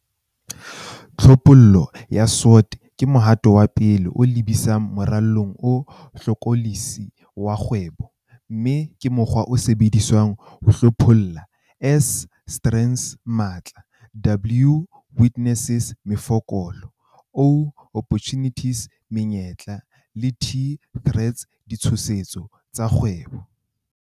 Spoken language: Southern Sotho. Tlhophollo ya SWOT ke mohato wa pele o lebisang moralong o hlokolosi wa kgwebo, mme ke mokgwa o sebediswang ho hlopholla S, strengths-matla, W, weaknesses-mefokolo, O, opportunities-menyetla, le T, threats-ditshoso, tsa kgwebo.